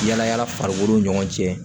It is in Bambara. Yala yala farikolo ɲɔgɔn cɛ